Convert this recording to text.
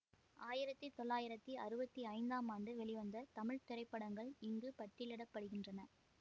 ஆயிரத்தி தொள்ளாயிரத்தி அறுவத்தி ஐந்தாம் ஆண்டு வெளிவந்த தமிழ் திரைப்படங்கள் இங்கு பட்டியலிட படுகின்றன